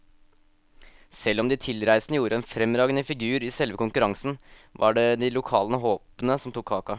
Selv om de tilreisende gjorde en fremragende figur i selve konkurransen, var det de lokale håpene som tok kaka.